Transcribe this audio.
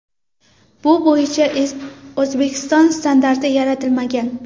Bu bo‘yicha O‘zbekiston standarti yaratilmagan.